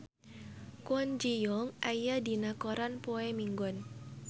Kwon Ji Yong aya dina koran poe Minggon